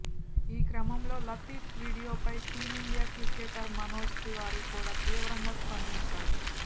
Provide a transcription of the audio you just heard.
ఈ క్రమంలో లతీఫ్ వీడియోపై టీమిండియా క్రికెటర్ మనోజ్ తివారీ కూడా తీవ్రంగా స్పందించాడు